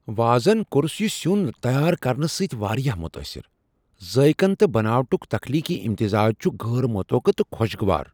وازن course یِہ سِیون تیار کرنہٕ سۭتۍ واریاہ متٲثر ، ذٲیقن تہٕ بناوٹک تخلیقی امتزاج چھ غیر متوقع تہٕ خوشگوار۔